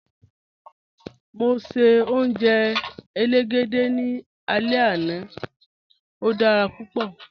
Mọ ṣẹ̀ ojẹ́ èlégédẹ̀ ní àlẹ̀ ẹna, ó dára púpọ̀